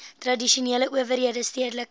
tradisionele owerhede stedelike